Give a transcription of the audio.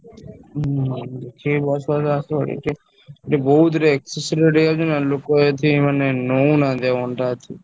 ହୁଁ ସେଇ bus ବାଲା ଆସିବନି ଏଠି ବହୁତ୍ excess rate ହେଇଯାଉଛି ନା ଲୋକ ଏଠି ମାନେ ନଉନାହାନ୍ତି ଆଉ ଅଣ୍ଡା ଏଠି।